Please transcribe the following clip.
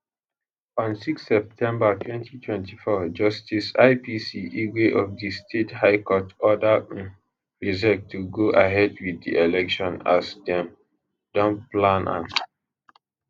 on 6 septermber 2024 justice ipc igwe of di state high court order um rsiec to go ahead wit di election as dem don plan am